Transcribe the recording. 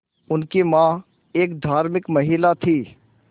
उनकी मां एक धार्मिक महिला थीं